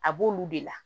A b'olu de la